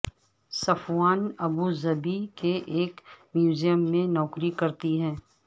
صفوان Abu Dhabi کے ایک museum میں نوکری کرتی ہیں